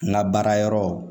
N ka baara yɔrɔ